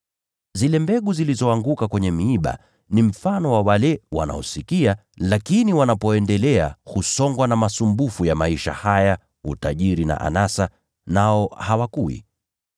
Zile mbegu zilizoanguka kwenye miiba ni mfano wa wale wanaosikia, lakini wanapoendelea husongwa na masumbufu ya maisha haya, utajiri na anasa, nao hawakui.